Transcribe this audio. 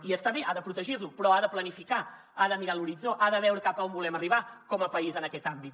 i està bé ha de protegir lo però ha de planificar ha de mirar l’horitzó ha de veure cap a on volem arribar com a país en aquest àmbit